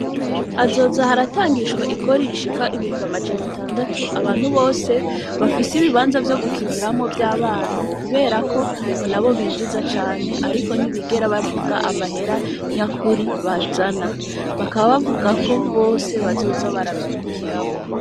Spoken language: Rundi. Hazoza haratangishwa ikori rishika ibumba amajana tandatu abantu bose bafise ibibanza vyo gukiniramwo vy'abana kuberako ngo na bo binjiza cane, ariko ntibigera bavuga amahera nyakuri bazana , bakababavuga ko bose bazoza baravyungukiramwo.